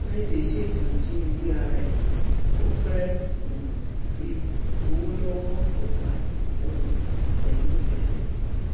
sunday ṣètò ìjínigbé ara ẹ ò fẹẹ um fi gbowó lọwọ ọgá um ẹ nìkéré